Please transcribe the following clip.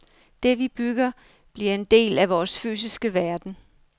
Det, vi bygger, bliver en del af vores fysiske verden.